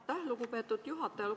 Aitäh, lugupeetud juhataja!